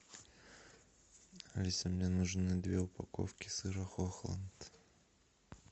алиса мне нужны две упаковки сыра хохланд